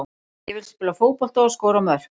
Ég vil spila fótbolta og skora mörk.